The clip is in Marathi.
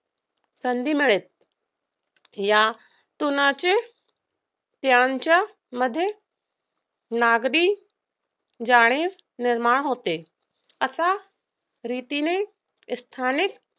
होण्यास संधी मिळते. यातूनच त्यांच्यामध्ये नागरी जाणीव निर्माण होते अशा रीतीने स्थानिक